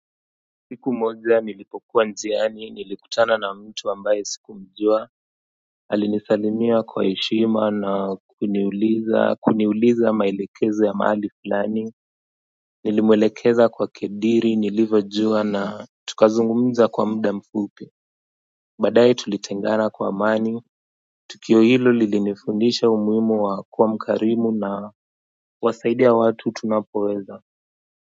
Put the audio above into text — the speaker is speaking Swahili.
Siku moja nilipokuwa njiani nilikutana na mtu ambaye sikumjua. Alinisalimia kwa heshima na kuniuliza maelekezo ya mahali fulani. Nilimwelekeza kwa kadri nilivojua na tukazungumza kwa muda mfupi baadae tulitengana kwa amani tukio hilo lilinifundisha umuhimu wa kuwa mkarimu na kuwasaidia watu tunapoweza.